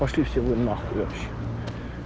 пошли все вы нахуй вообще